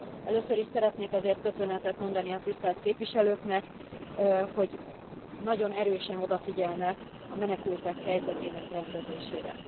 Először is szeretnék ezért köszönetet mondani a tisztelt képviselőknek, hogy nagyon erősen odafigyelnek a menekültek helyzetének rendezésére.